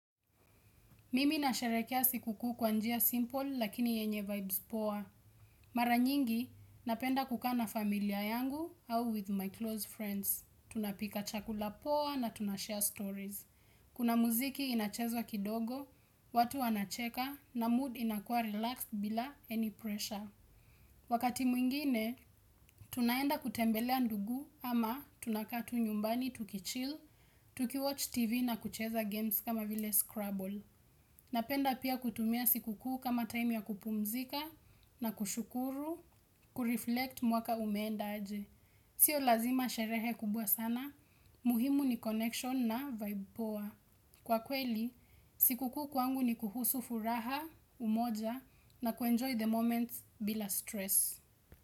Mimi nasharehekea siku kuu kwa njia simple lakini yenye vibes poa. Mara nyingi napenda kukaa na familia yangu au with my close friends. Tunapika chakula poa na tunashare stories. Kuna muziki inachezwa kidogo, watu wanacheka na mood inakua relaxed bila any pressure. Wakati mwingine, tunaenda kutembelea ndugu ama tunakaa tu nyumbani tuki chill, tuki watch TV na kucheza games kama vile scrabble. Napenda pia kutumia siku kuu kama time ya kupumzika na kushukuru, kureflect mwaka umeenda aje. Sio lazima sherehe kubwa sana, muhimu ni connection na vibe poa. Kwa kweli, siku kuu kwangu ni kuhusu furaha, umoja na kuenjoy the moments bila stress.